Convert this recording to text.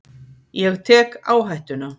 Ég tek áhættuna.